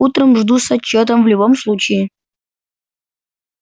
утром жду с отчётом в любом случае